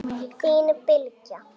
Þín Bylgja.